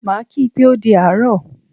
Maa kii pé o di àárọ̀